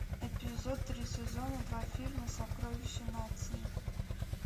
эпизод три сезона два фильма сокровище нации